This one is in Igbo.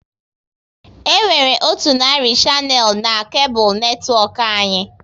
E nwere otu narị shanel n'kable netwọk anyị